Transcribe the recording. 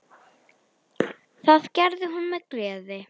Það gerði hún með gleði.